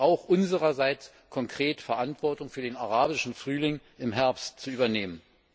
Das heißt auch, unsererseits konkrete Verantwortung für den arabischen Frühling im Herbst zu übernehmen.